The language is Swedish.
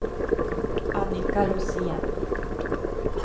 Annika Rosén